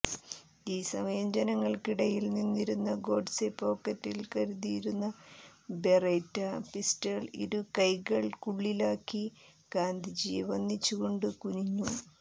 ഈ സമയം ജനങ്ങൾക്കിടയിൽ നിന്നിരുന്ന ഗോഡ്സേ പോക്കറ്റിൽ കരുതിയിരുന്ന ബെറെറ്റ പിസ്റ്റൾ ഇരുകൈയ്യുകൾക്കുള്ളിലാക്കി ഗാന്ധിജിയെ വന്ദിച്ചു കൊണ്ട് കുനിഞ്ഞു